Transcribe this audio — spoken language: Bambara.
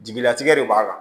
Jigilatigɛ de b'a kan